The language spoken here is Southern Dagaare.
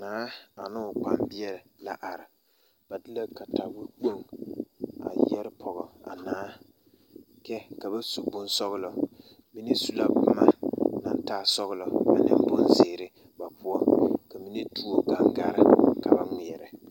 Naa ane o kpambeɛ la are ba de la katawekpoŋ a yɛre pɔɡe a naa kyɛ ka ba su o bonsɔɔlɔ mine su la boma naŋ taa sɔɔlɔ ane bonziiri ba poɔ ka mine tuo ɡaŋɡare ka ba ŋmeɛrɛ .